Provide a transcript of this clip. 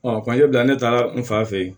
bila ne taara n fa fe yen